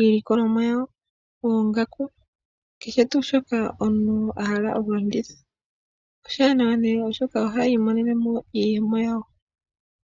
iilikolomwa yawo, oongaku ,keshe tu shoka omuntu tavulu oku kala alanditha. Oshiwanawa unene oshoka aantu otaya imonenemo iiyemo yawo.